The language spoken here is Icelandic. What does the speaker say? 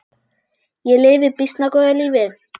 Ég lifi býsna góðu lífi!